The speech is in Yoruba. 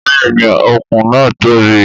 Bẹ́ẹ̀ni òkun náà tóbi